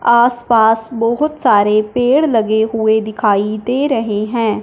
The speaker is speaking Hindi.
आस पास बहोत सारे पेड़ लगे हुए दिखाई दे रहे हैं।